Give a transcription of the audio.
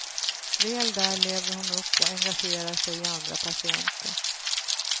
Väl där lever hon upp och engagerar sig i andra patienter.